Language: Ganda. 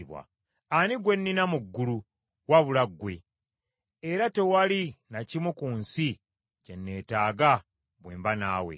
Ani gwe nnina mu ggulu, wabula ggwe? Era tewali na kimu ku nsi kye neetaaga bwe mba naawe.